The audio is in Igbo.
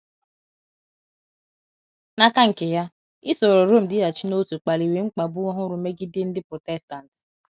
N’aka nke ya, isoro Rom dịghachi n’otu kpaliri mkpagbu ọhụrụ megide ndị Protestant.